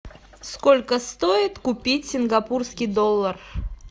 сколько стоит купить сингапурский доллар